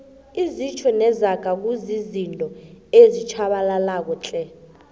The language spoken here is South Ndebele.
izitjho nezaga kuzizinto ezitjhabalalako tle